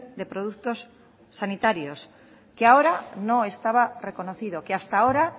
de productos sanitarios que ahora no estaba reconocido que hasta ahora